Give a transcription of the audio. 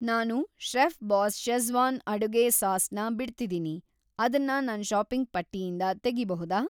ನಾನು Chef Boss Schezwan ಅಡುಗೆ sauce ನ ಬಿಡ್ತಿದೀನಿ, ಅದನ್ನ‌ ನನ್‌ ಷಾಪಿಂಗ್‌ ಪಟ್ಟಿಯಿಂದ ತೆಗಿಬಹುದಾ?